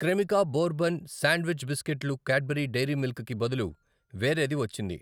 Cremica bourbon sandwich బిస్కెట్లు Cadbury Dairy Milk కి బదులు వేరేది వచ్చింది.